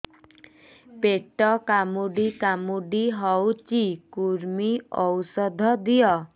ପେଟ କାମୁଡି କାମୁଡି ହଉଚି କୂର୍ମୀ ଔଷଧ ଦିଅ